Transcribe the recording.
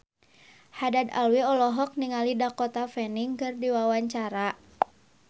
Haddad Alwi olohok ningali Dakota Fanning keur diwawancara